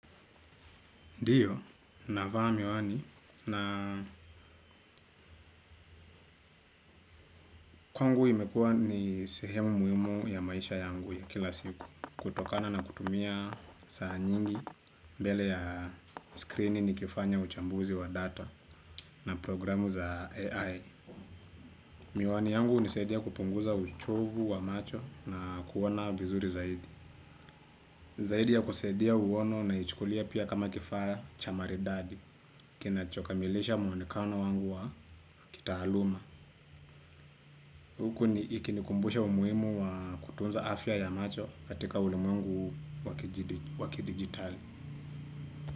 Ndiyo, navaa miwani na kwangu imekua ni sehemu muhimu ya maisha yangu ya kila siku. Kutokana na kutumia saa nyingi, mbele ya skrini nikifanya uchambuzi wa data na programu za AI. Miwani yangu hunisaidia kupunguza uchovu wa macho na kuoana vizuri zaidi. Zaidi ya kusaidia uono naichukulia pia kama kifaa cha maridadi. Kinachokamilisha mwonekano wangu wa kitaaluma. Huku ni ikinikumbusha umuhimu wa kutunza afya ya macho katika ulimwangu huu wa kidijitali.